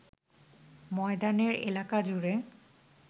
ময়দানের এলাকাজুড়ে